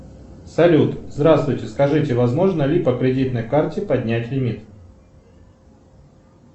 салют здравствуйте скажите возможно ли по кредитной карте поднять лимит